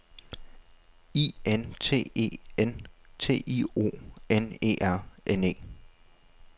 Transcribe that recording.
I N T E N T I O N E R N E